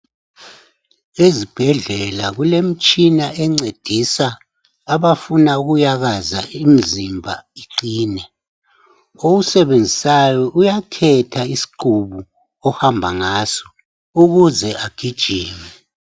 Ezibhendlela kulemitshina encedisa abafuna ukuyakaza imzimba iqine owusebenzisayo uyakhetha isqubu ohamba ngaso ukuze agijime